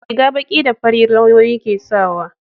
riga baki da fari lauyoyi ke sawa